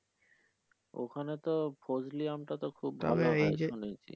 ওখানে তো ফজলি আম টা তো খুব ভালো হয় শুনেছি।